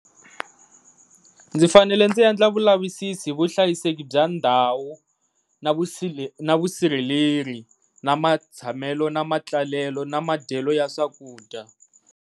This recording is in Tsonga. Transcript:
Ndzi fanele ndzi endla vulavisisi hi vuhlayiseki bya ndhawu na na vusirheleri, na matshamelo, na matlalelo na madyelo ya swakudya.